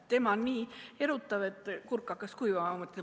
Teema on nii erutav, et kurk hakkas kuivama.